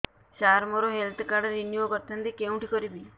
ସାର ମୋର health card renew କରିଥାନ୍ତି କେଉଁଠି କରିବି